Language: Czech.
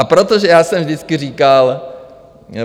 A protože já jsem vždycky říkal...